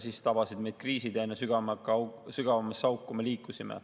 Siis tabasid meid kriisid ja aina sügavamasse auku me liikusime.